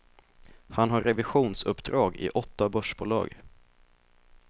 Han har revisionsuppdrag i åtta börsbolag.